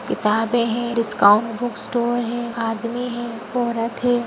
किताबे हैं discount book store है आदमी है औरत है।